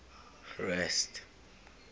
rest